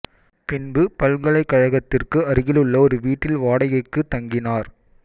பின்பு பல்கலைகழகத்திற்கு அருகில் உள்ள ஒரு வீட்டில் வாடகைக்கு தங்கினார்